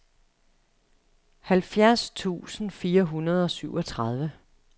halvfjerds tusind fire hundrede og syvogtredive